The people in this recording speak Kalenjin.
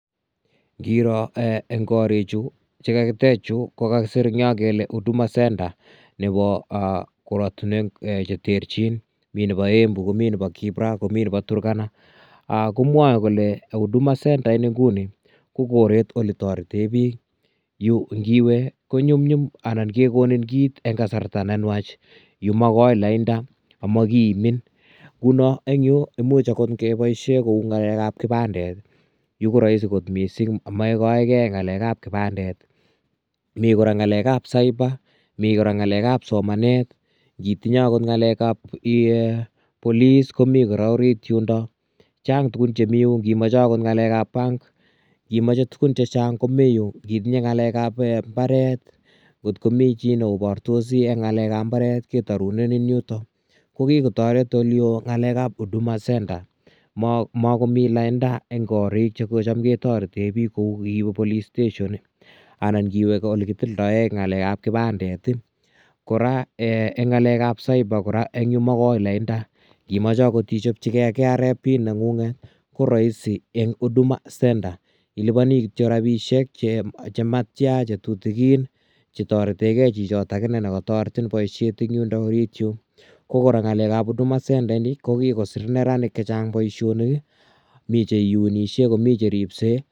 Ngiroo en koriik chuu chekakiteech che kakisiir en Yoon kole huduma [center]nebo koratinweek che terterjiin miten nebo embu komii nebo kibra ,komii nebo Turkana, komwae kole huduma [center] ko koreet ini ole tareteen biik Yuu ngiwee anan kegonin kiit en kasarta ne nwaach Yuu make laindaa ama kiimin ngunon en imuuch akoot kebaisheen kou ngalek ab kipandet Yuu koraisi koot missing maikae gei ngalek ab kipandet ii ,Mii kora ngalek ab cyber mii, kora ngalek ab somanet ngii tinyei akoot akoot ngalek ab [police] komii kora oriit yundaa chaang tukuun chemii yundaa ini machei akoot ngalek ab [bank] ingimachei tuguun chechaang komii Yuu itinyei ngalek ab mbaret kot komii chii ne obartosi en ngalek ab mbaret ketaretiin en yutoon ko kikotaret en ole Yoo ngalek ab huduma kochaam ke tareteen biik ko uu police station anan ngiweeh ole kitilndaen ngalek ab kipandet ii kora eeh en ngalek ab cyber ko magoi laindaa imachei akoot ichapchigei KRA pin nengung nget koraisi en Huduma [center] ilupanio kityoi rapisheek chemattyaan che tutugin che tareteen gei chitoo nekataretiin boisiet en yundoo oriit yuun ko ngalek ab huduma [center] ko kokisiir neranik chechaang boisionik ii mi che iunishe komii che ripsei.